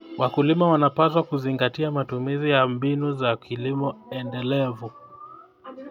Wakulima wanapaswa kuzingatia matumizi ya mbinu za kilimo endelevu.